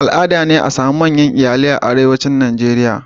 Al'ada ne a sami manyan iyalai a arewacin Najeriya.